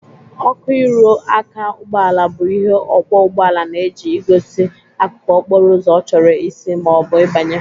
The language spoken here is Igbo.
Ọkụ ịrụ aka ụgbọala bụ ihe ọkwọ ụgboala na-eji egosi akụkụ okporo ụzọ ọ chọrọ isi ma ọ bụ ịbanye.